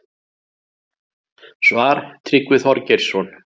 Svar: Tryggvi Þorgeirsson